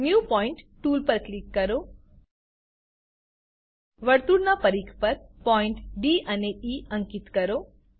new point tool પર click કરો વર્તુળનાં પરિધ પર પોઈન્ટ ડી અને ઇ અંકીત કરો